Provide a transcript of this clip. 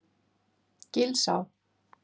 Gilsá